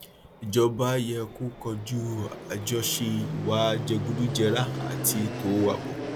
ìjọba yẹ kó koju àjọṣe ìwà jẹgúdújẹrá àti ètò ààbò